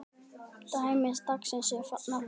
Dæmi dagsins er þaðan komið.